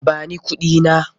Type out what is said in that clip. Ba ni kuɗina!